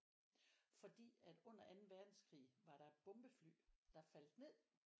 Fordi at under anden verdenskrig var der et bombefly der faldt ned